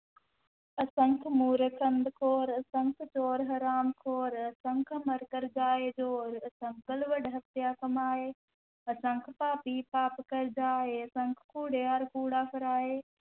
ਅਸੰਖ ਮੂਰਖ ਅੰਧ ਘੋਰ, ਅਸੰਖ ਚੋਰ ਹਰਾਮਖੋਰ, ਅਸੰਖ ਅਮਰ ਕਰਿ ਜਾਹਿ ਜੋਰ, ਅਸੰਖ ਗਲਵਢ ਹਤਿਆ ਕਮਾਹਿ, ਅਸੰਖ ਪਾਪੀ ਪਾਪੁ ਕਰਿ ਜਾਹਿ, ਅਸੰਖ ਕੂੜਿਆਰ ਕੂੜਾ ਫਿਰਾਹਿ,